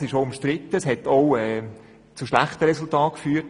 Es ist umstritten und hat auch schon zu schlechten Resultaten geführt.